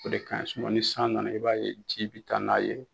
O de ka ɲi ni san nana i b'a ye ji bɛ taa n'a ye